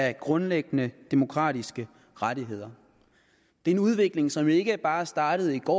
af grundlæggende demokratiske rettigheder det er en udvikling som ikke bare er startet i går